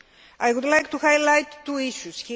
I would like to highlight two issues